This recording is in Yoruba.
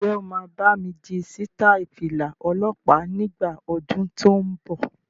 Ǹjẹ́ o máa bámi di sítai Fìlà ọlọ́pa nígbà ọdún tó ń bọ̀?